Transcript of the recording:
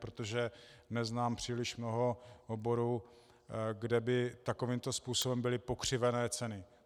Protože neznám příliš mnoho oborů, kde by takovýmto způsobem byly pokřivené ceny.